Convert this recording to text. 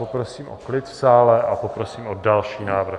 Poprosím o klid v sále a poprosím o další návrh.